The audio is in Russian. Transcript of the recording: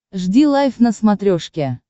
жди лайв на смотрешке